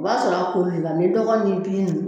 O b'a sɔrɔ koli la ni dɔgɔ ni